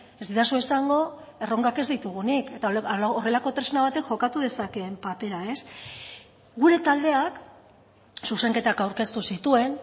ez didazu esango erronkak ez ditugunik eta horrelako tresna batek jokatu dezakeen papera gure taldeak zuzenketak aurkeztu zituen